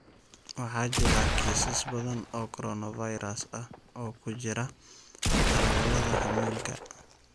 Waxaa jira kiisas badan oo coronavirus ah oo ku jira darawallada xamuulka.